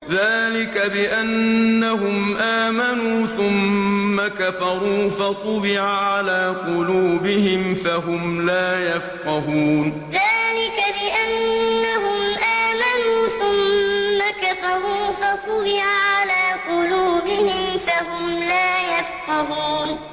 ذَٰلِكَ بِأَنَّهُمْ آمَنُوا ثُمَّ كَفَرُوا فَطُبِعَ عَلَىٰ قُلُوبِهِمْ فَهُمْ لَا يَفْقَهُونَ ذَٰلِكَ بِأَنَّهُمْ آمَنُوا ثُمَّ كَفَرُوا فَطُبِعَ عَلَىٰ قُلُوبِهِمْ فَهُمْ لَا يَفْقَهُونَ